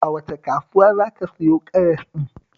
A wace kasuwa za ka siyo karas ɗin?